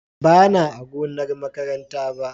Bana a gonar makaranta ba.